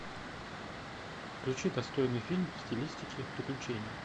включи достойный фильм в стилистике приключений